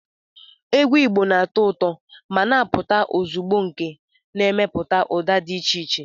Egwu Igbo na-atọ ụtọ ma na-apụta ozugbo nke na-emepụta ụda dị iche iche